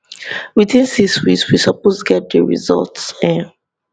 within 6 weeks we suppose get di results um